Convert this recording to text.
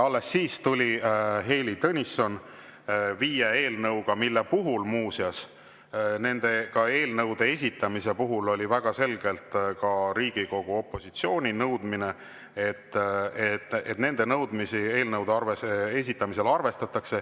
Alles siis tuli Heili Tõnisson viie eelnõuga, mille esitamise kohta muuseas oli väga selgelt Riigikogu opositsioonil nõudmine, et nende nõudmisi eelnõude esitamisel arvestatakse.